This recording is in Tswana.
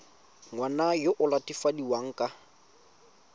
ngwana yo o latofadiwang ka